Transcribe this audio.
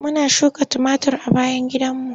Muna suka tumatir a bayan gidanmu.